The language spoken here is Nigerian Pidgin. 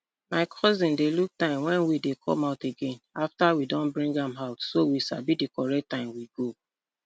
my cousin dey look time wen weed dey come out again afta we don bring am out so we sabi di correct time we go